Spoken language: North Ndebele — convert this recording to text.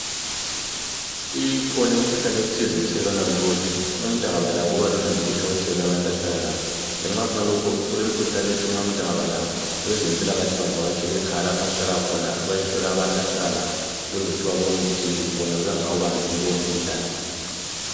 Ikhona imikhuhlane ethize ethelelwana lula. Umuntu angaba lawo, kuba lula nje, ukuthi awuthelele abantu ahlala labo. Ngenxa yakhonokho, kulemikhuhlane, ethi nxa umuntu engabalawo, abezempilakahle, bavahatshele ekhaya, lapha ahlala khona, bayehlola abantu abahlala labo. Ukuze bayehlola ukuthi bona bebengakawubambi yini lowomkhuhlane.